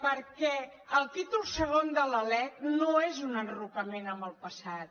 perquè el títol segon de la lec no és un enrocament en el passat